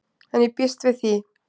En ég býst við því.